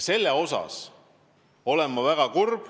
Selle pärast ma olen väga kurb.